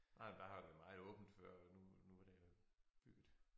Nej men der har været meget åbent før nu nu det jo bygget